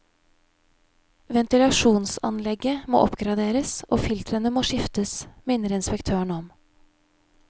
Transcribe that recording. Ventilasjonsanlegget må oppgraderes og filtrene må skiftes, minner inspektøren om.